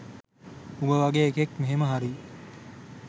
උඹ වගේ එකෙක් මෙහෙම හරි